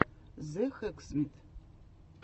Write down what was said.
зе хэксмит